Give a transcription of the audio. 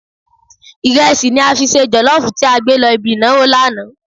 Ìrẹsì ni a fi ṣe jọ̀lọ́ọ̀fù tí a gbé lọ ibi ìnáwó lánàá.